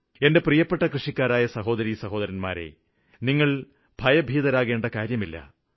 എന്റെ പ്രിയപ്പെട്ട കൃഷിക്കാരായ സഹോദരിസഹോദരന്മാരെ നിങ്ങള് ഭയഭീതരാകേണ്ട ഒരു കാര്യവുമില്ല